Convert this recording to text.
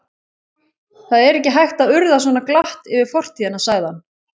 Það er ekki hægt að urða svo glatt yfir fortíðina sagði hann.